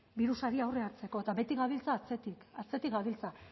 birusari aurre hartzeko eta beti gabiltza atzetik atzetik gabiltza